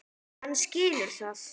Hann skilur það.